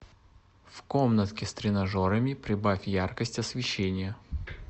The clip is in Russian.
в комнатке с тренажерами прибавь яркость освещения